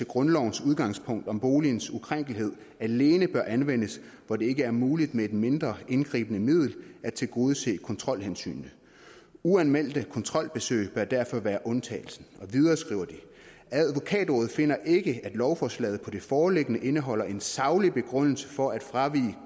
grundlovens udgangspunkt om boligens ukrænkelighed alene bør anvendes hvor det ikke er muligt med et mindre indgribende middel at tilgodese kontrolhensynene uanmeldte kontrolbesøg bør derfor være undtagelsen videre skriver de advokatrådet finder ikke at lovforslaget på det foreliggende indeholder en saglig begrundelse for at fravige